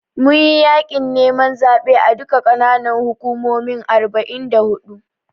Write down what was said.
Mun yi yaƙin neman zaɓe a duka ƙananan hukumomin arba'in da huɗu.